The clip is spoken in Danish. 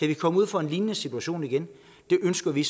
vi komme ud for en lignende situation igen det ønsker vi